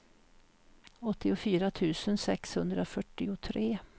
åttiofyra tusen sexhundrafyrtiotre